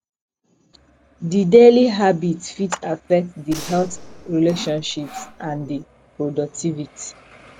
di daily habits fit affect di health relationships and di productivity